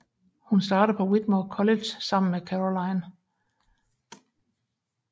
Hun starter på Whitmore College sammen med Caroline